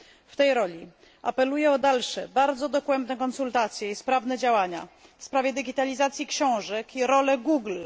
W tej roli apeluję o dalsze, bardzo dogłębne konsultacje i sprawne działania w sprawie digitalizacji książek i roli Google.